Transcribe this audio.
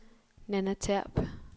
Nanna Terp